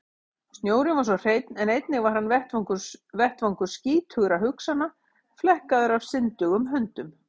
Snjórinn var svo hreinn en einnig hann var vettvangur skítugra hugsana, flekkaður af syndugum höndum.